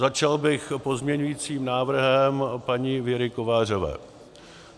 Začal bych pozměňovacím návrhem paní Věry Kovářové.